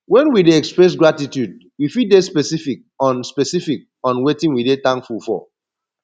when we dey express gratitude we fit de specific on specific on wetin we de thankful for